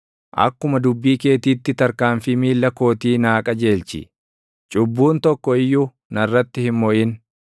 Akkuma dubbii keetiitti tarkaanfii miilla kootii naa qajeelchi; cubbuun tokko iyyuu narratti hin moʼin.